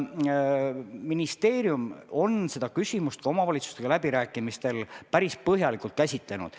Ministeerium on seda küsimust ka omavalitsustega läbirääkimistel päris põhjalikult käsitlenud.